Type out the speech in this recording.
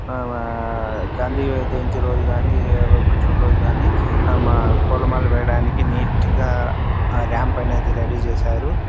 ఆ గాంధీ జయంతి రోజున గాని ఏదో ఒక రోజున కానీ పూలమాలలో వేయడానికైతే నీట్ గా రాంప్ అయితే రెడీ చేశారు.